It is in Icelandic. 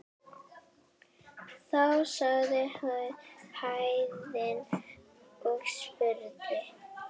Þá sagði Héðinn og spurði